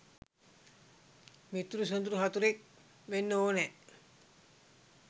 මිතුරු සොඳුරු හතුරෙක් වෙන්න ඕනෑ.